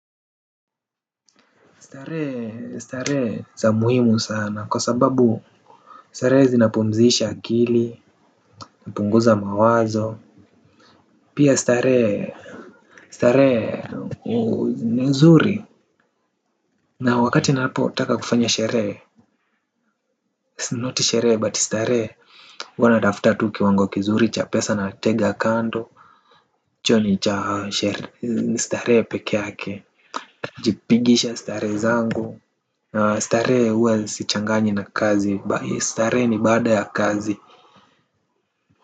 Starehe starehe za muhimu sana kwa sababu starehe zinapumzisha akili napunguza mawazo pia starehe starehe ni nzuri na wakati napotaka kufanya sherehe not sherehe but starehe huwa natafuta tu kiwango kizuri cha pesa natega kando. Hicho ni cha starehe pekee yake jipigisha starehe zangu. Starehe huwa sichanganyi na kazi. Starehe ni baada ya kazi.